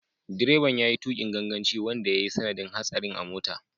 Direban ya yi tukin ganganci wanda ya yi sanadin hatsarin a mota.